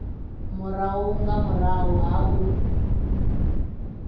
murahu nga murahu ha u